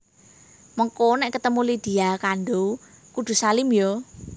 Mengko nek ketemu Lydia Kandouw kudu salim yo